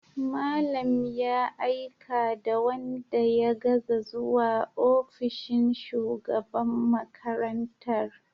Malam ya aika da wanda ya gaza zuwa ofishin shugaban makarantar.